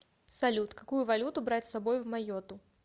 салют какую валюту брать с собой в майотту